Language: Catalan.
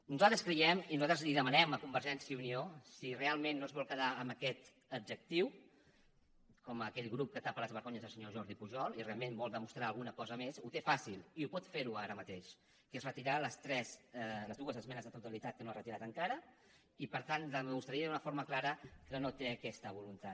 nosaltres creiem i nosaltres li ho demanem a convergència i unió que si realment no es vol quedar amb aquest adjectiu com aquell grup que tapa les vergonyes del senyor jordi pujol i realment vol demostrar alguna cosa més ho té fàcil i ho pot fer ara mateix retirar les dues esmenes a la totalitat que no ha retirat encara i per tant demostraria d’una forma clara que no té aquesta voluntat